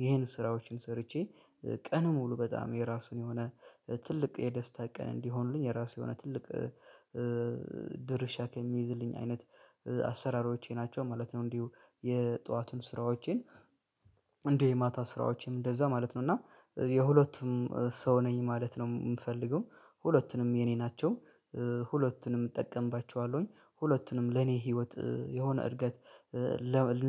ይሄን ስራዎችን ሰርቼ ቀን ሙሉ በጣም የራሱን የሆነ ትልቅ የደስታ ቀን እንዲሆንልኝ የራሱ የሆነ ትልቅ ድርሻ ከሚይዝልኝ አይነት አሰራሮቼ ናቸው ማለት ነው። እንዲሁ የጠዋቱን ስራዎቼን እንደ የማታ ስራዎቼም እንደዛ ማለት ነው እና የሁለቱም ሰው ነኝ ማለት ነው የምፈልገው ሁለቱንም የኔ ናቸው ሁለቱንም እጠቀምባቸዋለሁኝ ሁለቱንም ለኔ ህይወት የሆነ እድገት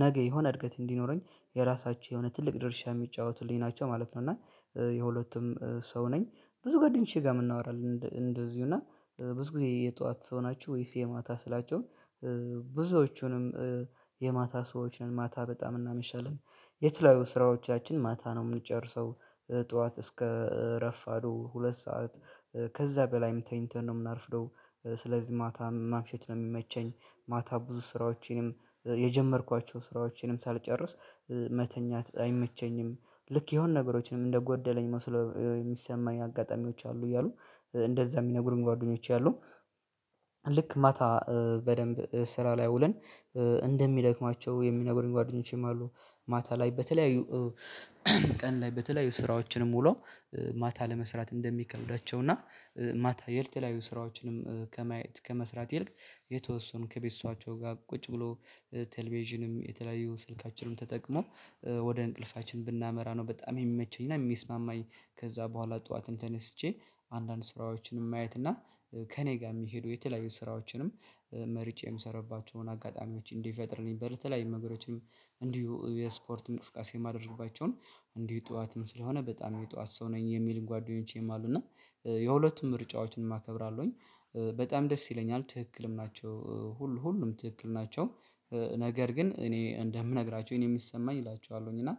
ነገ የሆነ እድገት እንዲኖረኝ የራሳቸው የሆነ ትልቅ ድርሻ የሚጫወቱልኝ ናቸው ማለት ነው። እና የሁለቱም ሰው ነኝ ብዙ ጓደኞቼ ጋር የምናወራል እንደዚሁ እና ብዙ ጊዜ የጠዋት ሰው ናቹ ወይስ የማታ ስላቸው ብዙዎቹንም የማታ ሰዎች ነን ማታ በጣም እናመሻለን የተለያዩ ስራዎቻችን ማታ ነው የምንጨርሰው ጠዋት እስከ ረፋዱ ሁለት ሰዓት ከዛ በላይም ተኝተን ነው የምናረፍደው ስለዚህ ማታ ማምሸት ነው የሚመቸኝ። ማታ ብዙ ስራዎቼንም የጀመርኳቸው ስራዎቼንም ሳልጨርስ መተኛት አይመቸኝም ልክ የሆነ ነገሮችንም እንደጎደለኝ መስሎ የሚሰማኝ አጋጣሚዎች አሉ እያሉ እንደዛ የሚነግሩኝ ጓደኞች አሉ። ልክ ማታ በደንብ ስራ ላይ ውለን እንደሚደክማቸው የሚነግሩኝ ጓደኞቼም አሉ ማታ ላይ በተለያዩ ቀን ላይ በተለያዩ ስራዎችንም ውለው ማታ ለመስራት እንደሚከብዳቸው እና ማታ የተለያዩ ስራዎችንም ከመስራት ይልቅ የተወሰኑ ከቤተሰባቸው ጋር ቁጭ ብሎ ቴሌቪዥንም የተለያዩ ስልካችንን ተጠቅሞ ወደ እንቅልፋችን ብናመራ ነው በጣም የሚመቸኝ እና የሚስማማኝ። ከዛ በኋላ ጠዋትን ተነስቼ አንዳንድ ስራዎችንም ማየትና ከእኔ ጋር የሚሄደው የተለያዩ ስራዎችንም መርጬ የምሰራባቸውን አጋጣሚዎች እንዲፈጥርልኝ በረተላያዩ ነገሮችም እንዲሁ የስፖርት እንቅስቃሴ የማደርግባቸውን እንዲሁ ጠዋትም ስለሆነ በጣም የጠዋት ሰው ነኝ የሚልን ጓደኞቼም አሉ እና የሁለቱም ምርጫዎችን እማከብራለሁኝ በጣም ደስ ይለኛል ትክክልም ናቸው ሁሉ ሁሉም ትክክል ናቸው። ነገር ግን እኔ እንደምነግራቸው እኔ የምሰማኝ እላችኋለሁኝ እና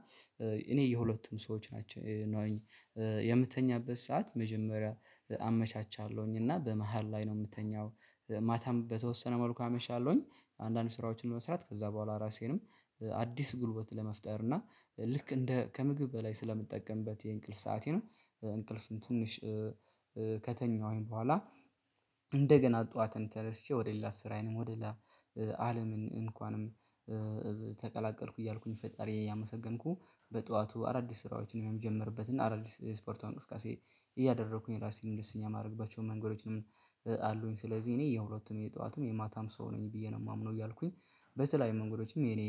እኔ የሁለቱም ሰዎች ናቸው የምተኛበት ሰዓት መጀመሪያ አመቻቻለሁኝ እና በመሃል ላይ ነው የምተኛው ማታም በተወሰነ መልኩ አመሻለሁኝ። አንዳንድ ስራዎችን መስራት ከዛ በኋላ ራሴንም አዲስ ጉልበት ለመፍጠር እና ልክ እንደ ከምግብ በላይ ስለምጠቀምበት የእንቅልፍ ሰአቴን እንቅልፍም ትንሽ ከተኛሁኝ በኋላ እንደገና ጠዋትን ተረስቼ ወደ ሌላ ስራዬንም ወደ አለምን እንኳንም ተቀላቀልኩ እያልኩኝ ፈጣሪ ያመሰገንኩ በጠዋቱ አዳዲስ ስራዎችን የምጀምርበት እና አዳዲስ ስፖርት እንቅስቃሴ እያደረኩኝ ራሴን እንደስኛ የማደርግባቸው መንገዶች ነው አሉኝ ስለዚህ እኔ የሁለቱም የጠዋትም የማታም ሰው ነኝ ብዬ ነው የማምነው። እያልኩኝ በተለያዩ መንገዶችም የኔ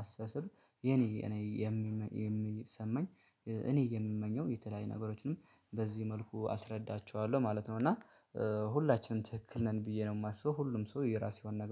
አስተሳሰብ የኔ እኔ የሚሰማኝ እኔ የምመኘው የተለያየ ነገሮችንም በዚህ መልኩ አስረዳቸዋለሁ ማለት ነው እና ሁላችንም ትክክል ነን ብዬ ነው የማስበው ሁሉም ሰው የራሴውን ነገ